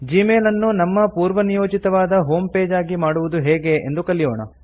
Gmail ಅನ್ನು ನಮ್ಮ ಪೂರ್ವನಿಯೋಜಿತವಾದ ಹೋಮ್ ಪೇಜ್ ಆಗಿ ಮಾಡುವುದು ಹೇಗೆ ಎಂದು ಕಲಿಯೋಣ